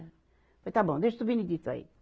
Falei, está bom, deixa esse Benedito aí.